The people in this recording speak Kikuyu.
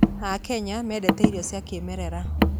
Akenya mendete irio cia kĩĩmerera